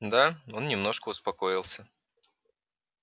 да он немножко успокоился